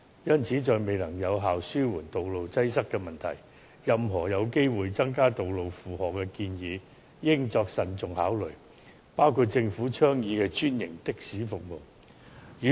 因此，在未能有效地紓緩道路擠塞的問題前，任何有機會增加道路負荷的建議，均應慎重考慮，包括政府倡議的專營的士服務。